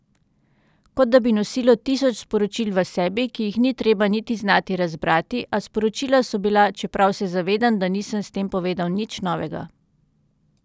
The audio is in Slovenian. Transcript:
Kot da bi nosilo tisoč sporočil v sebi, ki jih ni treba niti znati razbrati, a sporočila so bila, čeprav se zavedam, da nisem s tem povedal nič novega.